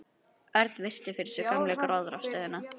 Örn virti fyrir sér gömlu gróðrarstöðina.